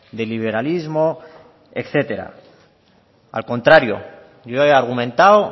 de liberalismo etcétera al contrario yo he argumentado